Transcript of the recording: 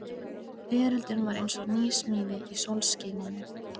Veröldin var eins og nýsmíði í sólskininu.